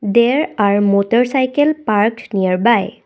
there are motorcycle parked nearby.